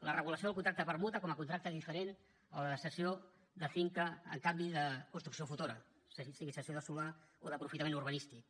la regulació del contracte de permuta com a contracte diferent a la de cessió de finca a canvi de construcció futura sigui cessió de solar o d’aprofitament urbanístic